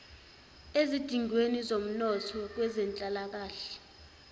ezidingweni zomnotho kwezenhlalakahle